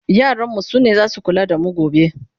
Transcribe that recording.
yaran mu sune zasu kula da mu gobe